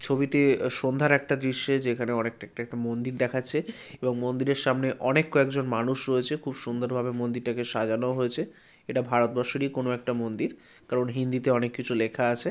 ছবিতে আহ সন্ধ্যার একটা দৃশ্যে যেখানে অনেক মন্দির দেখাচ্ছে | এবং মন্দিরের সামনে অনেক কয়েকজন মানুষ রয়েছে | খুব সুন্দর ভাবে মন্দিরটাকে সাজানো হয়েছে | এটা ভারতবর্ষেরই কোন একটা মন্দির কারণ হিন্দিতে অনেক কিছু লেখা আছে।